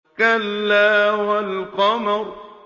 كَلَّا وَالْقَمَرِ